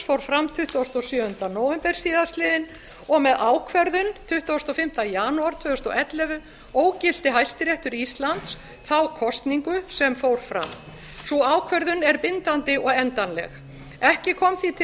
fór fram tuttugasta og sjöunda nóvember síðastliðinn og með ákvörðun tuttugasta og fimmta janúar tvö þúsund og ellefu ógilti hæstiréttur íslands þá kosningu sem fór fram sú ákvörðun er bindandi og endanleg ekki kom því til